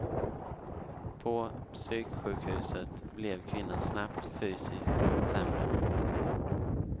På psyksjukhuset blev kvinnan snabbt fysiskt sämre.